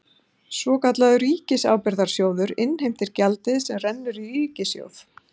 Svokallaður ríkisábyrgðasjóður innheimtir gjaldið sem rennur í ríkissjóð.